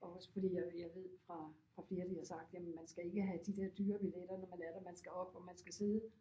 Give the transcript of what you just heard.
Og også fordi jeg jeg ved fra fra flere de har sagt jamen man skal ikke have de der dyre billetter når man er der man skal op og man skal sidde